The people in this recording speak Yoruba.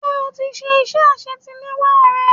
Ṣé o ti ṣe iṣẹ́ àsetiléwá rẹ?